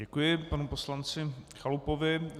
Děkuji panu poslanci Chalupovi.